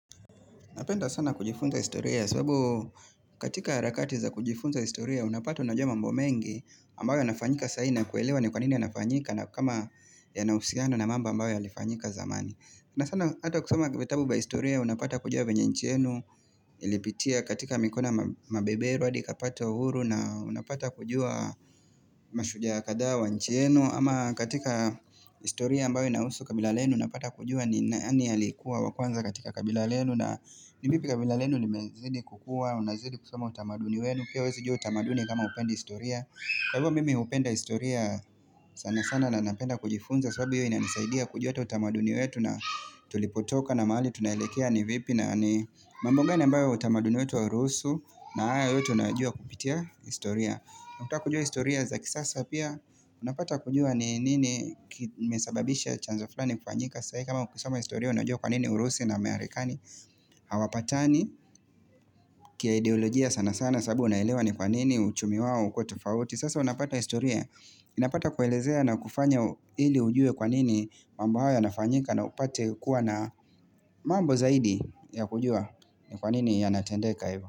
Napenda sana kujifunza historia, sababu katika harakati za kujifunza historia, unapata unajua mambo mengi ambayo yanafanyika sai na kuelewa ni kwanini yanafanyika na kama yanausiano na mambo ambayo yalifanyika zamani. Na sana hata kusoma vitabu vya historia unapata kujua venye nchi enu Ilipitia katika mikono ya mabeberu hadi ikapata uhuru na unapata kujua mashujaa kadhaa wa nchi yenu ama katika historia ambayo inahusu kabila lenu unapata kujua ni nani aliyekuwa wakwanza katika kabila lenu. Na ni vipi kabila lenu limezidi kukua, unazidi kusoma utamaduni wenu. Pia huwezijua utamaduni kama hupendi historia. Kwa hivo mimi hupenda historia sana sana na napenda kujifunza sababu hiyo ina nisaidia kujua utamaduni wetu na tulipotoka na mahali tunaelekea ni vipi na ni mambo ngani ambao utamaduni wetu auruhusu na haya yote unayajua kupitia historia. Nakutuka kujua historia za kisasa pia, unapata kujua ni nini kimesababisha chanzo fulani kufanyika sai. Kama kusoma historia unajua kwa nini urusi na amerikani hawapatani kia ideolojia sana sana sababu naelewa ni kwa nini uchumi wao ukwe tofauti. Sasa unapata historia, inapata kuelezea na kufanya ili ujue kwanini mambo haya yanafanyika na upate kuwa na mambo zaidi ya kujua kwanini yanatendeka hivyo.